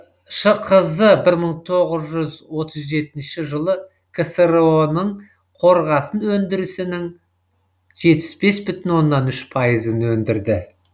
шқз бір мың тоғыз жүз отыз жетінші жылы ксро ның қорғасын өндірісінің жетпіс бес бүтін оннан үш пайызын өндірді